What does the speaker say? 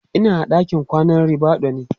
Ina a ɗakin kwanan ribadu ne